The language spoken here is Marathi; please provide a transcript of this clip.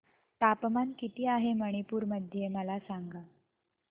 तापमान किती आहे मणिपुर मध्ये मला सांगा